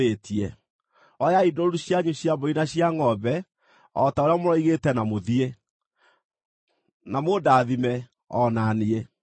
Oyai ndũũru cianyu cia mbũri na cia ngʼombe o ta ũrĩa mũroigĩte na mũthiĩ. Na mũndathime o na niĩ.”